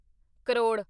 crore